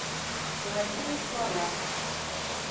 плохие слова